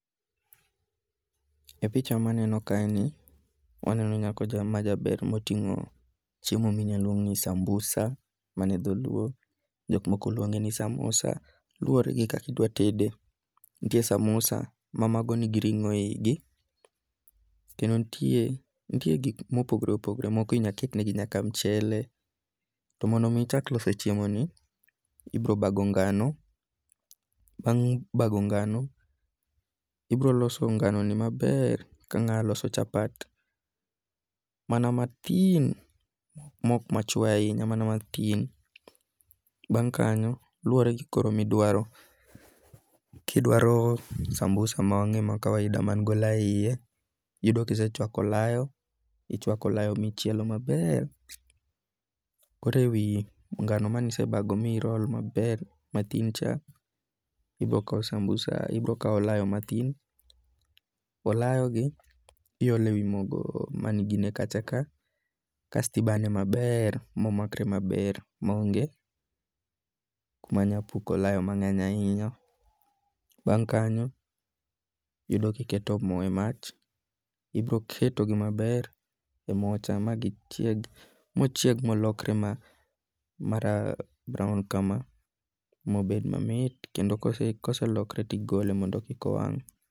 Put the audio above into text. E picha maneno kaeni waneno nyako cha ma jaber moting'o chiemo minyaluong ni sambusa mano e dholuo jok moko luonge ni samusa. Luwore gi kaka idwa tede. Nitie samusa ma mago nigi ring'o e yigi. Kendo nitie nitie gik mopogore opogore. Moko inyaket ne gi nyaka mchele. To mondo mi ichak loso chiemo ni, ibiro bago ngano, bang' bago ngano, ibiro loso nganoni maber ka ng'a loso chapat mana mathin mok mache ahinya. Mana mathin. Bang' kanyo koro luwore gikoro midwaro. Kidwaro sambusa ma weng'e ma kawaida man gi olayo e yiye. Yudo ka isechwakio oloyo. Ichwako olayo michielo maber. Koro e wi ngano manisebago mirol maber mathin cha ibiro kawo olayo mathin. Olayo gi iolo e wi mogo mane igine kacha ka kasto ibane maber momakre maber ma onge kuma nyapuko olayo mang'eny ahinya. Bang' kanyo yudo kiketo mo e mach. Ibiro keto gi maber e mo cha mochieg molokre ma brown kama mobed mamit. Kendo koselokre tigole mondo kik owang'.